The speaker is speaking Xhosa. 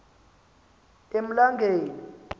emlangeni